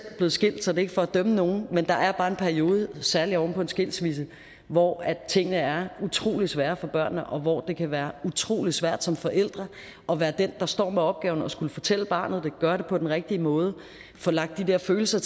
blevet skilt så det er ikke for at dømme nogen men der er bare en periode særlig oven på en skilsmisse hvor tingene er utrolig svære for børnene og hvor det kan være utrolig svært som forældre at være den der står med opgaven at skulle fortælle barnet ville gøre det på den rigtige måde at få lagt de der følelser